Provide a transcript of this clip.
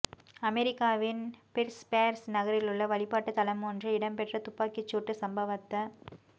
அமெரிக்காவின் பிற்ஸ்பேர்க் நகரிலுள்ள வழிபாட்டுத் தலமொன்றில் இடம்பெற்ற துப்பாக்கிச் சூட்டுச் சம்பவத்த